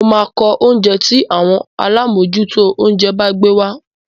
Mo máa ko oúnjẹ́ tí àwọn alámòójútó oúnjẹ bá gbé wá.